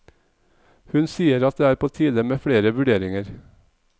Hun sier at det er på tide med flere vurderinger.